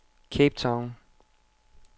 Cape Town